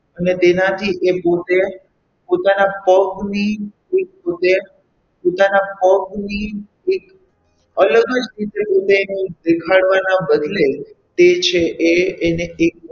અને તેનાથી એ પોતે પોતાની પગની પોતાના પગની એક અલગ જ રીતે પોતાની દેખાડવાના બદલે તે છે એ એને એક,